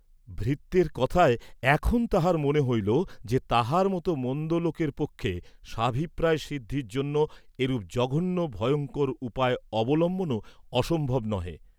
ভৃত্যের কথায় এখন তাঁহার মনে হইল যে তাহার মত মন্দ লোকের পক্ষে স্বাভিপ্রায় সিদ্ধির জন্য এরূপ জঘন্য ভয়ঙ্কর উপায় অবলম্বনও অসম্ভব নহে।